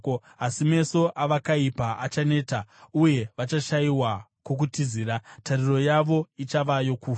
Asi meso avakaipa achaneta, uye vachashayiwa kwokutizira; tariro yavo ichava yokufa.”